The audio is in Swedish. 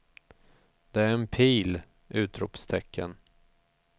Det är en pil! utropstecken